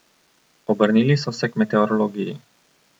Obrnili so se k meteorologiji.